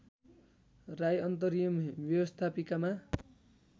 राई अन्तरिम व्यवस्थापिकामा